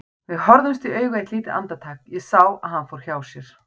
Við horfðumst í augu eitt lítið andartak, ég sá að hann fór hjá sér.